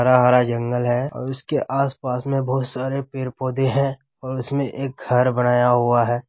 हरा-हरा जंगल है और इसके आस-पास मे बोहत सारे पेड़ पौधे है और उसमे एक घर बनाया हुआ है।